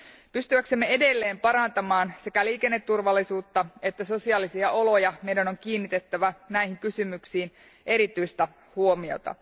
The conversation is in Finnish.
Pystyäksemme edelleen parantamaan sekä liikenneturvallisuutta että sosiaalisia oloja meidän on kiinnitettävä näihin kysymyksiin erityistä huomiota.